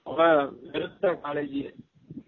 அப்ப வேருத college